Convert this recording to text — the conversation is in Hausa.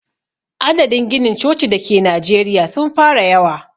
Adadin ginin coci da ke najeriya sun fara yawa.